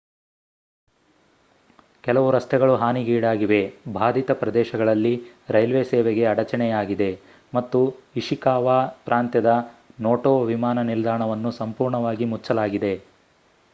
ಕೆಲವು ರಸ್ತೆಗಳು ಹಾನಿಗೀಡಾಗಿವೆ ಭಾಧಿತ ಪ್ರದೇಶಗಳಲ್ಲಿ ರೈಲ್ವೆ ಸೇವೆಗೆ ಅಡಚಣೆಯಾಗಿದೆ ಮತ್ತು ಇಶಿಕಾವಾ ಪ್ರಾಂತ್ಯದ ನೋಟೊ ವಿಮಾನ ನಿಲ್ದಾಣವನ್ನು ಸಂಪೂರ್ಣವಾಗಿ ಮುಚ್ಚಲಾಗಿದೆ